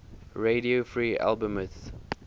radio free albemuth